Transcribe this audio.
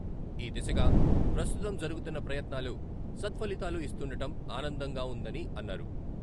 ఈ దిశగా ప్రస్తుతం జరుగుతున్న ప్రయత్నాలు సత్ఫలితాలు ఇస్తుండటం ఆనందంగా ఉందని అన్నారు.